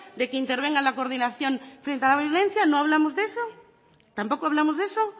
de que intervenga en la coordinación frente a la violencia no hablamos de eso tampoco hablamos de eso